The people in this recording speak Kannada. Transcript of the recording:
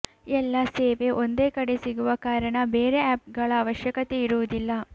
ಎಲ್ಲ ಸೇವೆ ಒಂದೇ ಕಡೆ ಸಿಗುವ ಕಾರಣ ಬೇರೆ ಆಪ್ ಗಳ ಅವಶ್ಯಕತೆಯಿರುವುದಿಲ್ಲ